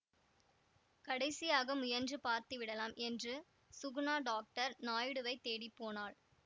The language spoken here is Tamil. கடைசியாக முயன்று பார்த்து விடலாம் என்று சுகுணா டாக்டர் நாயுடுவைத் தேடி போனாள்